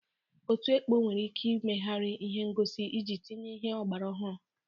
Otu ekpo nwere ike imegharị ihe ngosi iji tinye ihe ọgbara ọhụrụ.